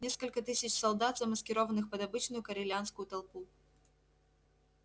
несколько тысяч солдат замаскированных под обычную корелианскую толпу